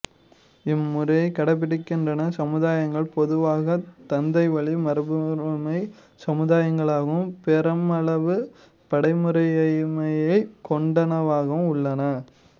இம்முறையைக் கடைப்பிடிக்கின்ற சமுதாயங்கள் பொதுவாகத் தந்தைவழி மரபுமுறைச் சமுதாயங்களாகவும் பெருமளவு படிமுறையமைப்பைக் கொண்டனவாகவும் உள்ளன